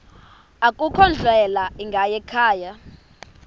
akukho ndlela ingayikhaya